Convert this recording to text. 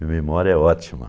Minha memória é ótima.